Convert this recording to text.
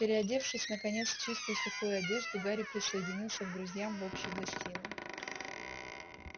переодевшись наконец в чистую сухую одежду гарри присоединился к друзьям в общей гостиной